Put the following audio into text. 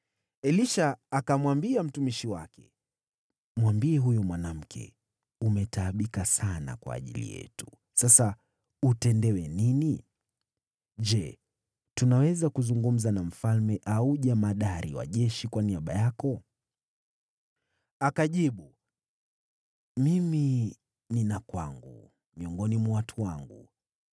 Elisha akamwambia mtumishi wake, “Mwambie huyu mwanamke, ‘Umetaabika sana kwa ajili yetu. Sasa utendewe nini? Je, tunaweza kuzungumza na mfalme au jemadari wa jeshi kwa niaba yako?’ ” Akajibu, “Mimi ninaishi kwangu miongoni mwa watu wangu.”